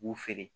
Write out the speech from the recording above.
U b'u feere